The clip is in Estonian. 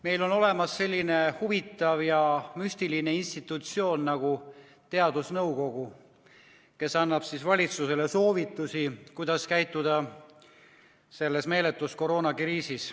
Meil on olemas selline huvitav ja müstiline institutsioon nagu teadusnõukoda, kes annab valitsusele soovitusi, kuidas käituda selles meeletus koroonakriisis.